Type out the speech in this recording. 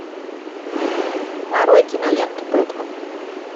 нарой киноленту бэтмен